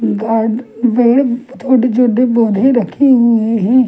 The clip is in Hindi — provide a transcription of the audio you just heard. पे छोटे छोटे पौधे रखे हुए है।